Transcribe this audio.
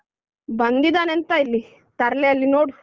ಬಂದಿದಾನೆ ಎಂತ ಇಲ್ಲಿ ತರ್ಲೆ ಅಲ್ಲಿ ನೋಡು.